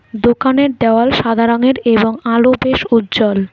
দোকানের দেওয়াল সাদা রঙের এবং আলো বেশ উজ্জ্বল।